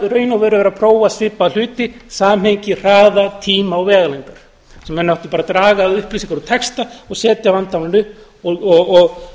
raun og veru verið að prófa svipaða hluti samhengi hraða tíma og vegalengdar sem menn áttu bara að draga að upplýsingar úr texta og setja vandamálið upp og